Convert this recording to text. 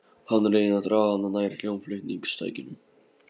Hann reynir að draga hana nær hljómflutningstækjunum.